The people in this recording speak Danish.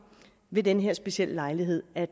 ved den her specielle lejlighed at